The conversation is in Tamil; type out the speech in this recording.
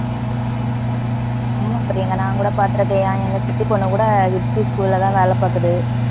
ஆமா பிரியங்கா நான்கூட பாத்துருக்கேன். ஏன் எங்க சித்தி பொண்ணுகூட school ல தான் வேலை பாக்குது